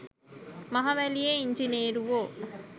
මහවැලියේ ඉංජිනේරුවො